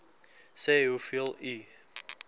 sê hoeveel u